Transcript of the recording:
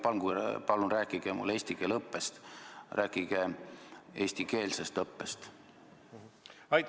Ärge palun rääkige mulle eesti keele õppest, rääkige eestikeelsest õppest!